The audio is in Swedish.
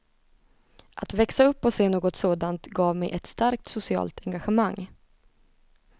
Att växa upp och se något sådant gav mig ett starkt socialt engagemang.